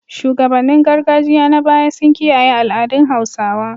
Shugabannin gargajiya na baya sun kiyaye al’adun Hausawa.